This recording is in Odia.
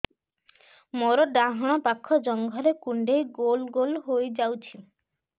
ମୋର ଡାହାଣ ପାଖ ଜଙ୍ଘରେ କୁଣ୍ଡେଇ ଗୋଲ ଗୋଲ ହେଇଯାଉଛି